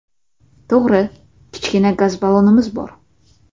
To‘g‘ri, kichkina gaz ballonimiz bor.